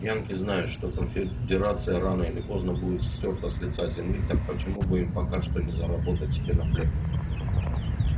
янки знают что конфедерация рано или поздно будет стёрта с лица земли так почему бы им пока что не заработать себе на хлеб